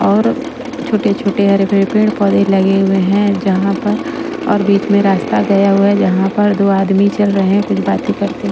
और छोटे-छोटे हरे पेड़ पौधे लगे हुए हैं जहाँ पर और बीच में रास्ता गया हुआ है जहाँ पर दो आदमी चल रहे हैं कुछ बातें करते हैं--